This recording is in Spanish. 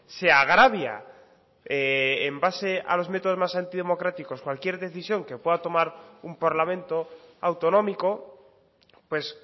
se agravia en base a los métodos más antidemocráticos cualquier decisión que pueda tomar un parlamento autonómico pues